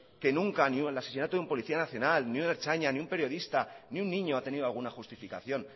que nunca ni un asesinato de un policía nacional ni un ertzaina ni un periodista ni un niño ha tenía ninguna justificación